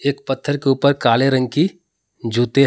एक पत्थर के ऊपर काले रंग की जुतें हैं।